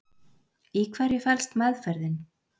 Í hverju felst meðferðin?